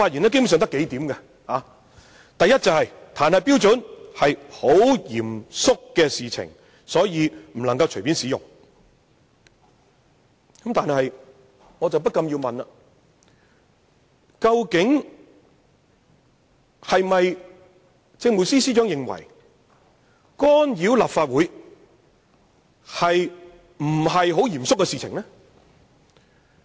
第一個論點是彈劾是相當嚴肅的事情，不可以隨便進行，但我不禁要問，究竟政務司司長是否認為，干預立法會並非一件很嚴肅的事情呢？